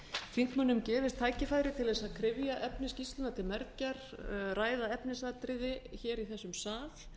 þingmönnum gefist tækifæri til þess að kryfja efni skýrslunnar til mergjar ræða efnisatriði hér í þessum sal